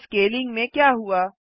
तो स्केलिंग में क्या हुआ